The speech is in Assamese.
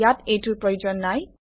ইয়াত এইটোৰ প্ৰয়োজন নাই